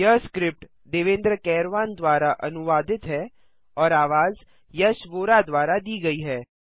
यह स्क्रिप्ट देवेन्द्र कैरवान द्वारा अनुवादित है और आवाज यश वोरा द्वारा दी गई है